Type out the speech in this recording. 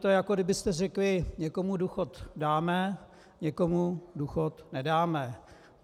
To je, jako byste řekli: Někomu důchod dáme, někomu důchod nedáme.